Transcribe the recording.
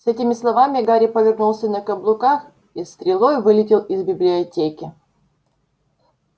с этими словами гарри повернулся на каблуках и стрелой вылетел из библиотеки